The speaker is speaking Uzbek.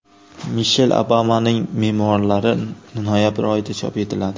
Mishel Obamaning memuarlari noyabr oyida chop etiladi.